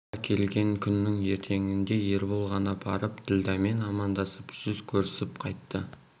бұлар келген күннің ертеңінде ербол ғана барып ділдәмен амандасып жүз көрісіп қайтты